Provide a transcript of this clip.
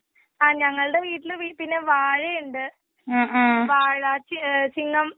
ഞങളുടെ വീട്ടിലെ പിന്നെ വാഴയുണ്ട്. ആ അ അച്ചിങ്ങം.